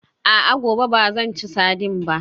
A'a, gobe ba zan ci sardine ba